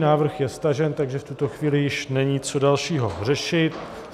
Návrh je stažen, takže v tuto chvíli již není co dalšího řešit.